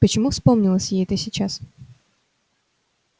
почему вспомнилось ей это сейчас